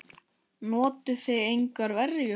Notuðuð þið engar verjur?